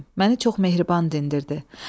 Məni çox mehriban dindirdi.